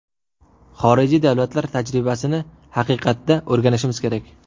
Xorijiy davlatlar tajribasini haqiqatda o‘rganishimiz kerak.